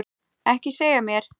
Ekki segja mér